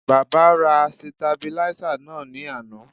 Baba ra sitabiláísà náà ní àná